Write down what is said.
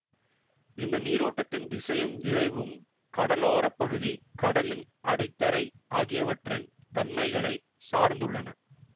இந்த நீரோட்டத்தின் திசையும் விரைவும் கடலோர பகுதி கடலின் அடித்தரை ஆகியவற்றின் தன்மைகளைச் சார்ந்துள்ளன